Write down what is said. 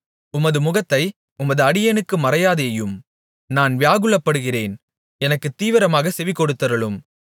உமது முகத்தை உமது அடியேனுக்கு மறையாதேயும் நான் வியாகுலப்படுகிறேன் எனக்குத் தீவிரமாகச் செவிகொடுத்தருளும்